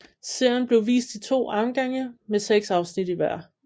Serien blev vist i to omgange med seks afsnit i hver